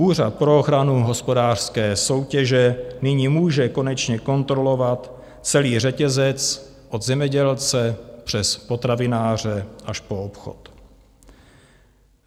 Úřad pro ochranu hospodářské soutěže nyní může konečně kontrolovat celý řetězec od zemědělce přes potravináře až po obchod.